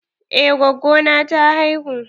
Eh, gwaggo na ta haihu.